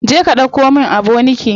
Je ka ɗauko min aboniki.